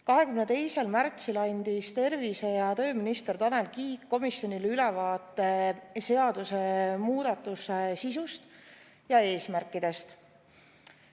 22. märtsil andis tervise‑ ja tööminister Tanel Kiik komisjonile ülevaate seadusemuudatuse sisust ja eesmärkidest.